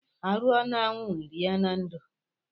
Arụọ n'anwụ erie na ndo.